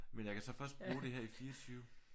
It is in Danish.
Men jeg kan så først bruge det her i 24